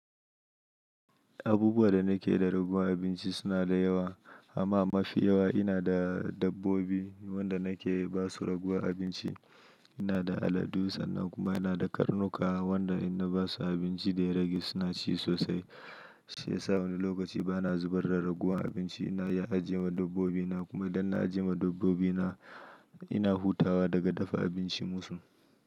Abubuwa da nake da raguwan abinci suna da yawa, amma mafi yawa ina da dabbobi wanda nake basu raguwan abinci. Ina da aladu sannan kuma ina da karnuka wanda in na basu abinci da ya rage suna ci sosai. Shi ya sa wani lokaci ba na zubar da raguwan abinci, ina iya ajiye ma dabbobina kuma idan na ajiye ma dabbobina, ina hutawa daga dafa abinci musu.